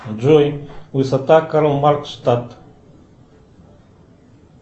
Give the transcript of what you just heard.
джой высота карл маркс штадт